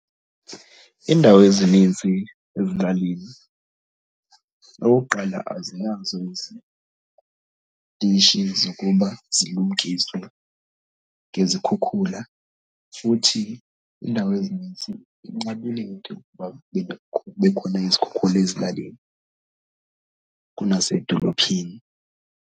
Iindawo ezinintsi ezilalini okokuqala, azinazo izitishi zokuba zilumkiswe ngezikhukhula futhi indawo ezinintsi inqabile into yokuba kubekho, kube khona izikhukhula ezilalini kunasedolophini.